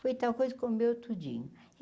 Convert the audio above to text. Foi tal coisa comeu tudinho.